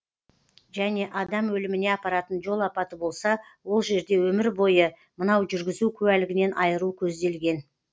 және адам өліміне апаратын жол апаты болса ол жерде өмір бойы мынау жүргізу куәлігінен айыру көзделген